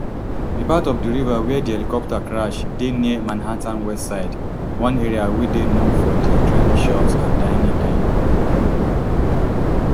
di part of di river wia di helicopter crash dey near manhattan west side one area wey dey known for dia trendy shops and dining dining